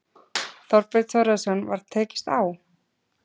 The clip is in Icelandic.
Þorbjörn Þórðarson: Var tekist á?